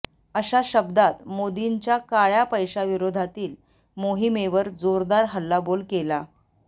अशा शब्दात मोदींच्या काळ्या पैशाविरोधातील मोहिमेवर जोरदार हल्लाबोल केला